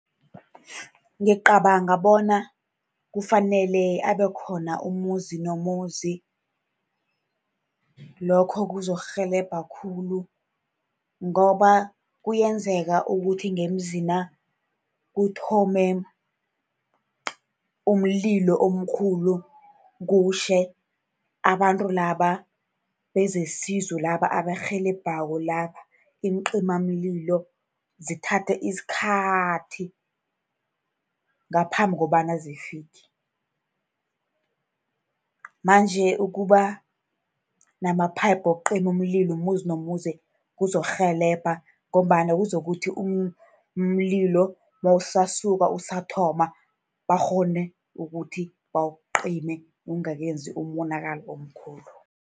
Ngicabanga bona kufanele abe khona umuzi nomuzi. Lokho kuzokurhelebha khulu, ngoba kuyenzeka ukuthi ngemzina kuthome umlilo omkhulu, kutjhe. Abantu laba bezesizo laba abarhelebhako laba, iincimamlilo zithathe isikhathi ngaphambi kobana zifike. Manje ukuba nama-pipe wokucima umlilo umuzi nomuzi kuzokurhelebha, ngombana kuzakuthi umlilo nawusasuka, usathoma, bakghone ukuthi bawucime ungakenzi umonakalo omkhulu.